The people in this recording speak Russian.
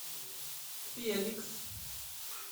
феликс